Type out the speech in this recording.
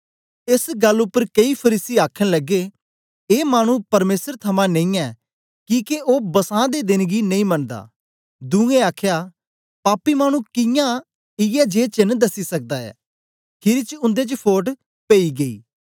एस गल्ल उपर केई फरीसी आखन लगे ए मानु परमेसर थमां नेई ऐ किके ओ बसां दे देन गी नेई मनदा दुए आखया पापी मानु कियां इयै जिये चेन्न दसी सकदा ऐ खीरी च उन्दे च फोट पेई गेई